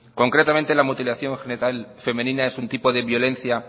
concretamente la mutilación genital femenina es un tipo de violencia